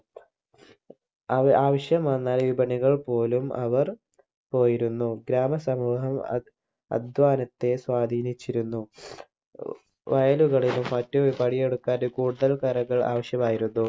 ആവശ്യം വന്നാൽ വിപണികൾ പോലും അവർ പോയിരുന്നു ഗ്രാമ സമൂഹം അ അധ്വാനത്തെ സ്വാധീനിച്ചിരുന്നു വയലുകളിലും മറ്റ് പണിയെടുക്കാൻ കൂടുതൽ കരങ്ങൾ ആവശ്യമായിരുന്നു